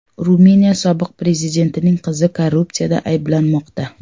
Ruminiya sobiq prezidentining qizi korrupsiyada ayblanmoqda.